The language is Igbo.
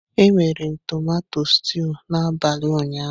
Emere m tumato stúu n'abalị ụnyaahụ.